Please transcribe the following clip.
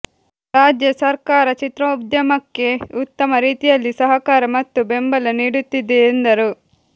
ರಾಜ್ಯ ಸರ್ಕಾರ ಚಿತ್ರೋದ್ಯಮಕ್ಕೆ ಉತ್ತಮ ರೀತಿಯಲ್ಲಿ ಸಹಕಾರ ಮತ್ತು ಬೆಂಬಲ ನೀಡುತ್ತಿದೆ ಎಂದರು